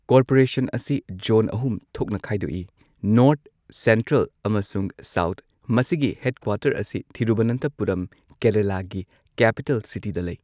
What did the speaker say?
Corporation ꯑꯁꯤ zone ꯑꯍꯨꯝ ꯊꯣꯛꯅ ꯈꯥꯏꯗꯣꯛꯏ ꯅꯣꯔꯊ, ꯁꯦꯟꯇ꯭ꯔꯦꯜ ꯑꯃꯁꯨꯡ ꯁꯥꯎꯊ, ꯃꯁꯤꯒꯤ ꯍꯦꯗꯀ꯭ꯋꯥꯇꯔ ꯑꯁꯤ ꯊꯤꯔꯨꯚꯅꯟꯊꯄꯨꯔꯝ ꯀꯦꯔꯂꯥꯒꯤ ꯀꯦꯄꯤꯇꯦꯜ ꯁꯤꯇꯤ ꯗ ꯂꯩ꯫